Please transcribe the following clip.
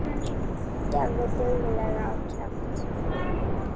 Gefðu duglega á kjaft.